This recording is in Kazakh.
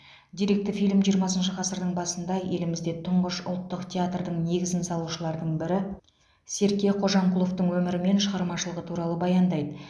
деректі фильм жиырмасыншы ғасырдың басында елімізде тұңғыш ұлтық театрдың негізін салушылардың бірі серке қожамқұловтың өмірі мен шығармашылығы туралы баяндайды